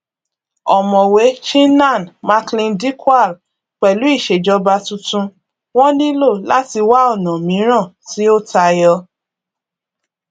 ọmọwé chinnan macleandikwal pẹlú ìṣèjọba tuntun wọn nílò láti wá ọnà míràn tí ó tayọ